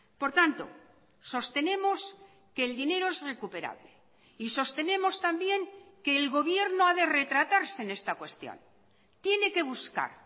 por tanto sostenemos que el dinero es recuperable y sostenemos también que el gobierno ha de retratarse en esta cuestión tiene que buscar